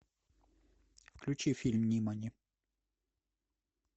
включи фильм нимани